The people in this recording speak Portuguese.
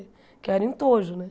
Porque eu era entojo, né?